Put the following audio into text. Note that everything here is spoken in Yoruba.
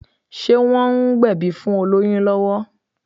Ṣé wọ́n ń gbẹ̀bí fún olóyún lọ́wọ́?